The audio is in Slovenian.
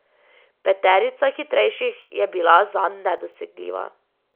Peterica hitrejših je bila zanj nedosegljiva.